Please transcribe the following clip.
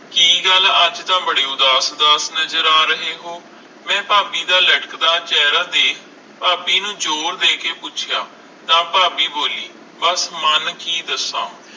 ਕਿ ਗੱਲ ਅਜੇ ਤਾ ਬੜੇ ਉਦਾਸ ਉਦਾਸ ਨਜਰ ਆ ਰਹੇ ਹੋ, ਮੈਂ ਭਾਭੀ ਦਾ ਲਟਕ ਦਾ ਚੇਹਰਾ ਦੇਖ ਭਾਭੀ ਨੂੰ ਜ਼ੋਰ ਦੇ ਕੇ ਪੁੱਛਿਆ ਤਾ ਭਾਭੀ ਬੋਲੀ ਬਸ ਮਨ ਕਿ ਦੱਸਾਂ